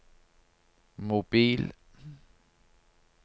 mobil